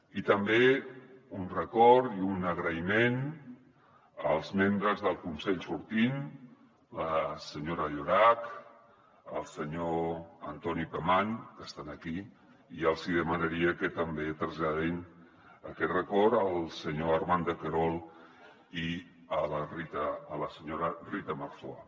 i també un record i un agraïment als membres del consell sortint la senyora llorach el senyor antoni pemán que són aquí i els demanaria que també traslladin aquest record al senyor armand de querol i a la senyora rita marzoa